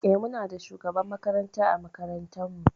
Eh Muna da shugaban makaranta ã makarantan mu